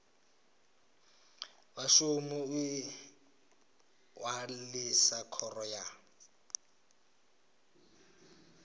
vhashumi u ṅwalisa khoro ya